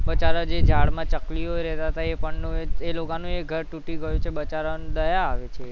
બચારાઓ જે ઝાડમાં ચકલીઓ રહેતા તા એ પણનું એ, એ લોકોનું એ ઘર તૂટી ગયું છે બચારાઓને દયા આવે છે